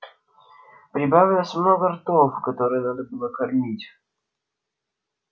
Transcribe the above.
прибавилось много ртов которые надо было кормить